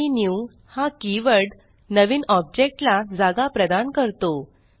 आणि न्यू हा कीवर्ड नवीन ऑब्जेक्ट ला जागा प्रदान करतो